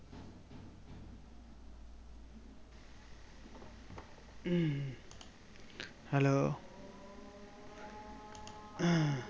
hello?